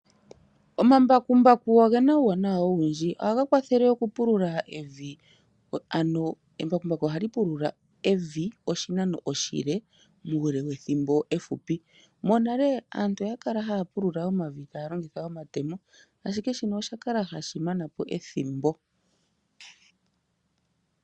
Omambakumbaku omawaanawa oshoka oga pu nokulingitha. Aantu ohaya vulu oku pulula omapya gawo pokathimbo okashino.